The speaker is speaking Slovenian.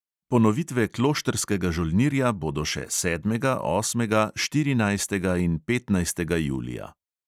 Ponovitve kloštrskega žolnirja bodo še sedmega, osmega, štirinajstega in petnajstega julija.